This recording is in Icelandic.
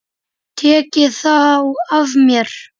Tekið þá af mér.